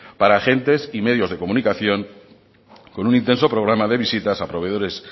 para gente y medios de comunicación con un intenso programa de visitas a proveedores